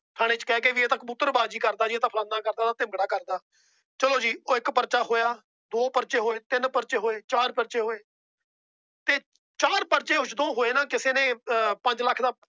ਠਾਣੇ ਚ ਕਹਿ ਕੇ ਜੀ ਇਹ ਤਾਂ ਕਬੂਤਰ ਬਾਜੀ ਕਰਦਾ। ਇਹ ਤਾਂ ਫਲਾਣਾ ਕੰਮ ਕਰਦਾ ਕਰਦਾ। ਚਲੋ ਜੀ ਉਹ ਇੱਕ ਪਰਚਾ ਹੋਇਆ। ਦੋ ਪਰਚੇ ਹੋਏ, ਤਿੰਨ ਪਰਚੇ ਹੋਏ ਫਿਰ ਚਾਰ ਪਰਚੇ ਹੋਏ। ਚਾਰ ਪਰਚੇ ਹੋਏ ਨਾ ਤਾਂ ਕਿਸੇ ਨੇ ਠਾਣੇ ਚ ਕਹਿ ਕੇ ਪੰਜ ਲੱਖ ਦਾ